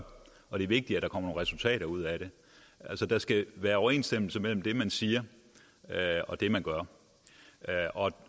og det er vigtigt at der kommer nogle resultater ud af det der skal være overensstemmelse mellem det man siger og det man gør